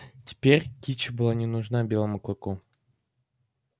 теперь кичи была не нужна белому клыку